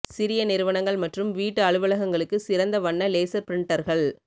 சிறிய நிறுவனங்கள் மற்றும் வீட்டு அலுவலகங்களுக்கு சிறந்த வண்ண லேசர் பிரிண்டர்கள்